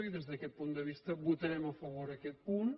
i des d’aquest punt de vista votarem a favor aquest punt